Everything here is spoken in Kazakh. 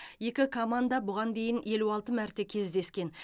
екі команда бұған дейін елу алты мәрте кездескен